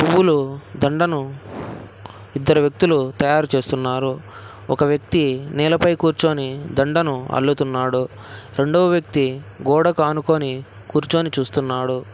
పూలు దండను ఇద్దరు వ్యక్తులు తయారు చేస్తున్నారు ఒక వ్యక్తి నేలపై కూర్చొని దండను అల్లుతున్నాడు రెండో వ్యక్తి గోడకు ఆనుకొని కూర్చొని చూస్తున్నాడు.